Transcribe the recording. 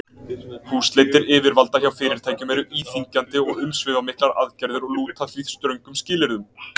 Húsleitir yfirvalda hjá fyrirtækjum eru íþyngjandi og umsvifamiklar aðgerðir og lúta því ströngum skilyrðum.